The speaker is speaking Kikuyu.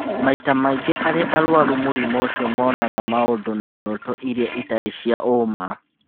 Maita maingĩ arĩa arũaru mũrimũ ũcio monaga maũndũ na iroto iria ti cia ũũma.